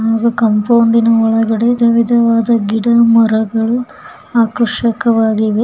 ಹಾಗು ಕಂಪೌಂಡಿನ ಒಳಗಡೆ ಧುವಿದವ ಗಿಡ ಮರಗಳು ಆಕರ್ಷಕ್ಕವಾಗಿವೆ.